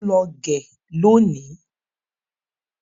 Mọ ń lọ gẹ lónìí.